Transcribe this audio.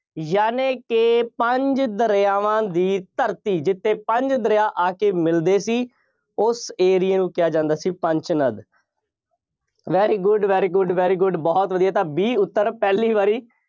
ਯਾਨੀ ਕਿ ਪੰਜ ਦਰਿਆਵਾਂ ਦੀ ਧਰਤੀ, ਜਿੱਥੇ ਪੰਜ ਦਰਿਆ ਆ ਕੇ ਮਿਲਦੇ ਸੀ। ਉਸ area ਨੂੰ ਕਿਹਾ ਜਾਂਦਾ ਸੀ, Panchanad. very good, very good, very good ਬਹੁਤ ਵਧੀਆ, ਤਾਂ B ਉੱਤਰ ਪਹਿਲੀ ਵਾਰੀ